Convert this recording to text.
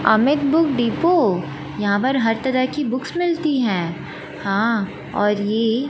Amit book depot यहां पर हर तरह की बुक्स मिलती है हां और ये--